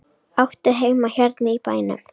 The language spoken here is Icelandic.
Áttu heima hérna í bænum?